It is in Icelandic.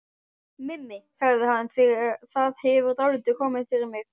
Mimi, sagði hann, það hefur dálítið komið fyrir mig